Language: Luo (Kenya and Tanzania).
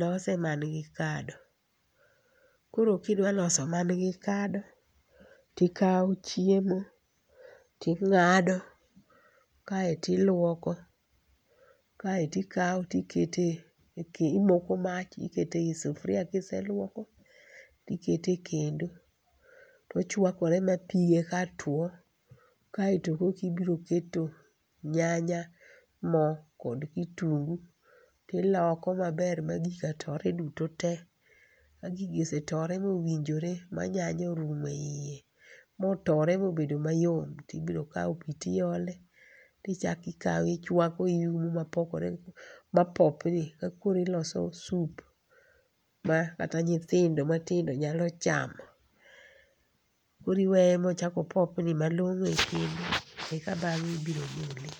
lose man gi kado. Koro kidwa loso man gi kado, tikawo chiemo ting'ado, kaeto iluoko, kaeto ikawo tiketo eke imoko mach iketo ei sufuria kiseluoko kaeto iketo ekendo. To ochuakore mapige ka tuo kaeto kokibiro keto nyanya, mo kod kitungu tiloko maber ma gika tore duto te. Ka gigi osetoe mowinjore ma nyanya orumo eiye, motore mobedo mayom to ibiro kawo pi tiole tchako ikawo ichuako ma popni kakoro iloso soup makata nyithindo matindo nyalo chamo. Koro iweye ma ochak opopni malong'o ekendo eka bang'e ibiro gole.